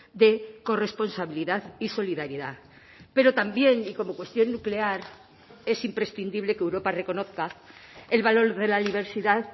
de corresponsabilidad y solidaridad pero también y como cuestión nuclear es imprescindible que europa reconozca el valor de la diversidad